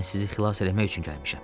Mən sizi xilas eləmək üçün gəlmişəm.